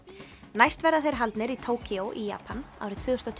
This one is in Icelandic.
næst verða þeir haldnir í í Japan árið tvö þúsund